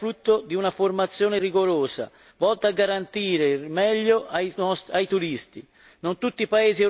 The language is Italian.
La loro capacità è frutto di una formazione rigorosa, volta a garantire il meglio ai turisti.